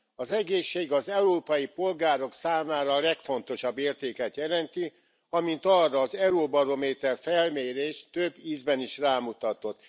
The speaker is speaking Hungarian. Az egészség az európai polgárok számára a legfontosabb értéket jelenti, amint arra az Eurobarométer felmérés több ízben is rámutatott.